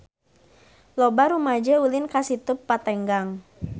Loba rumaja ulin ka Situ Patenggang